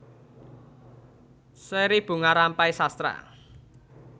Seri Bunga Rampai Sastra